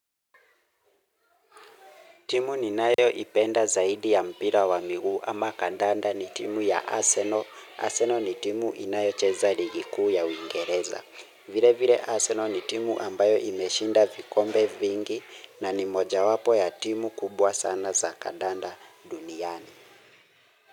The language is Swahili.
Timu ninayoipenda zaidi ya mpira wa miguu ama kandanda ni timu ya Arsenal. Arsenal ni timu inayocheza ligi kuu ya Uingereza. Vile vile Arsenal ni timu ambayo imeshinda vikombe vingi na ni moja wapo ya timu kubwa sana za kadanda duniani.